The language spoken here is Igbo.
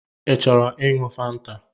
Ị chọrọ iṅụ fanta?